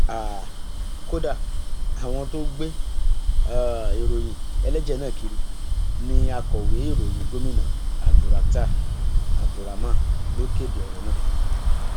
um kódà àwọn tó ń gbé um ìròyìn ẹlẹjẹ náà kiri ní akọwé ìròyìn gomina abdulrakhtar abdulrahman ló kéde ọrọ náà